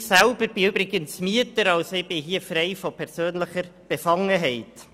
Ich selber bin übrigens Mieter und damit frei von persönlicher Befangenheit.